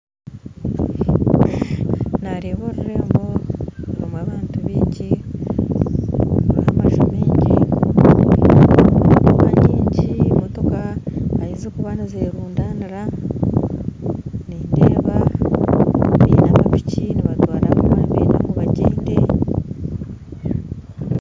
Nareeba orurembo rurimu abantu baingi rurimu maju maingi motoka motoka ahazikuba nizerundanira nindeeba bainemu piki nibatwara abarikuba nibenda bagyende